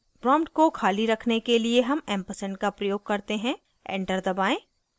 prompt को खाली रखने के लिए हम ऐम्पर्सैन्ड का प्रयोग करते हैं enter दबाएं